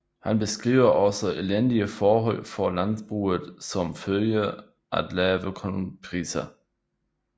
Han beskriver også elendige forhold for landbruget som følge af lave kornpriser